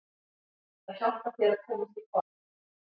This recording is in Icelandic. Það hjálpar þér að komast í form.